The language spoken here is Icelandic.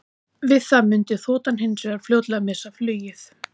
Við það mundi þotan hins vegar fljótlega missa flugið.